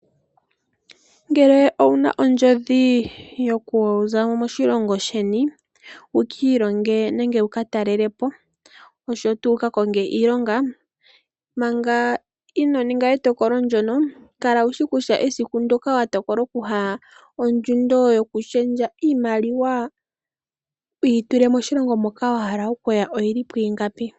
Ngele owu na ondjodhi yokuza mo moshilongo sheni wu ka ilonge nenge wu ka talelepo, oshowo tuu wu ka konge iilonga, manga ino ninga etokolo ndono kala wushi kutya esiku ndoka wa tokola okuya, ondjundo yokulundulula iimaliwa. Wu yi tule moshilongo moka wa hala okuya oyi li pu ingapi.